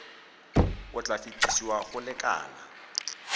o tla fetesiwa go lekala